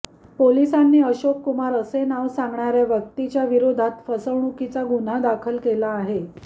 पोलिसांनी अशोक कुमार असे नाव सांगणाऱ्या व्यक्तीच्या विरोधात फसवणुकीचा गुन्हा दाखल केला आहे